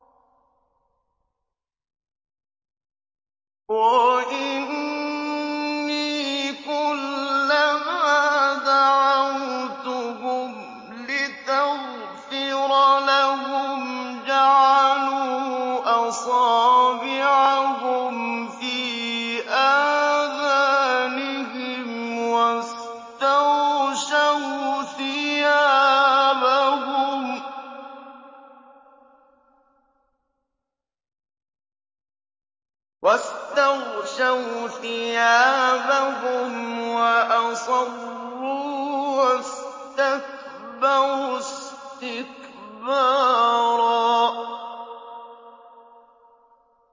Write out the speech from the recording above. وَإِنِّي كُلَّمَا دَعَوْتُهُمْ لِتَغْفِرَ لَهُمْ جَعَلُوا أَصَابِعَهُمْ فِي آذَانِهِمْ وَاسْتَغْشَوْا ثِيَابَهُمْ وَأَصَرُّوا وَاسْتَكْبَرُوا اسْتِكْبَارًا